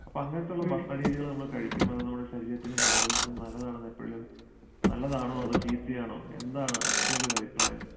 അപ്പൊ അങ്ങനത്തെയുള്ള ഭക്ഷണരീതികള് നമ്മൾ കഴിക്കുമ്പോ അത് നമ്മുടെ ശരീരത്തിനും ആരോഗ്യത്തിനും നല്ലതാണെന്ന് എപ്പഴേലും നല്ലതാണോ അതോ ചീത്തയാണോ എന്താണ് അക്ഷരയുടെ ഒരു അഭിപ്രായം?